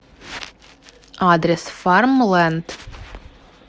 адрес фармленд